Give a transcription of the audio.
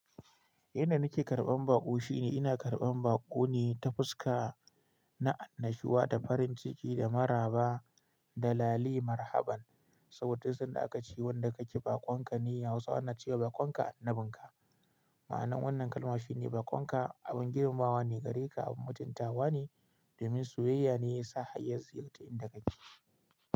Inda nake karɓan baƙo shine ina karɓan baƙoni ta fuska, na annashuwa da farin ciki da maraba da lale marhaban. Saboda duk sanda aka ce wanda ka ke baƙon ka ne, Hausawa na cewa baƙon ka annabin ka. Ma'anar wannan kalma shine baƙon ka abin girmawa ne gare ka, abin mutuntawa ne domin soyayya ne ya sa har ya ziyarta inda ka ke.